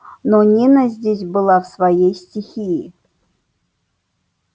но нина здесь была в своей стихии